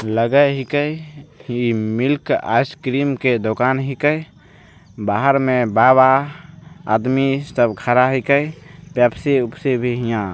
लगय हीके की मिल्क आइस क्रीम के दुकान हीके बाहर में बाबा आदमी सब खड़ा हीके पेप्सी वेप्सी भी हेय यहाँ।